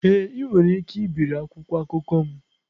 Ee, ị nwere ike ibiri akwụkwọ akụkọ m.